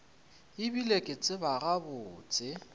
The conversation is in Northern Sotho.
e bile ke tseba gabotse